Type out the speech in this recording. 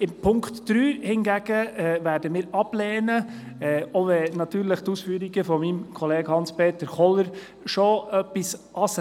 Den Punkt 3 hingegen werden wir ablehnen, auch wenn die Ausführungen von Grossrat Kohler nicht unberechtigt sind.